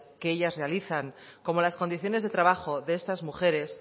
que ellas realizan como las condiciones de trabajo de esas mujeres